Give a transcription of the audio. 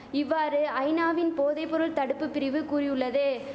இவ்வாறு ஐநாவின் போதை பொருள் தடுப்பு பிரிவு கூறியுள்ளது